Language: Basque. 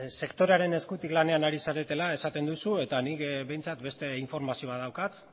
sektorearen eskutik lanean ari zaretela esaten duzu nik behintzat beste informazio bat daukat